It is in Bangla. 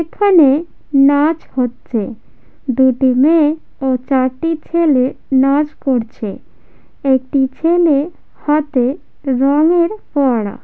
এখানে নাচ হচ্ছে দুটি মেয়ে ও চারটি ছেলে নাচ করছে একটি ছেলে হাতে রঙের ফোয়ারা--